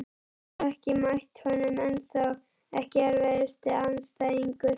Hef ekki mætt honum ennþá Ekki erfiðasti andstæðingur?